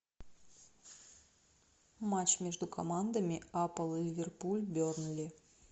матч между командами апл ливерпуль бернли